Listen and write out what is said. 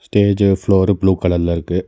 ஸ்டேஜி floor blue கலர்ல இருக்கு.